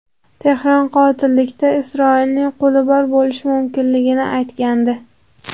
Tehron qotillikda Isroilning qo‘li bor bo‘lishi mumkinligini aytgandi.